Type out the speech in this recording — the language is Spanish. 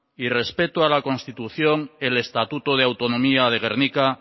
y respeto a la constitución el estatuto de autonomía de gernika